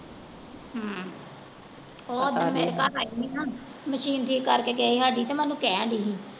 ਹਮ ਅੱਛਾ ਉਹ ਓਦਣ ਮੇਰੇ ਘਰ ਆਈ ਹੀ ਨਾ machine ਠੀਕ ਕਰਕੇ ਗਏ ਹੀ ਹਾਡੀ ਤੇ ਮੈਂ ਓਹਨੂੰ ਕਹਿਣ ਦੀ ਹਾਂ।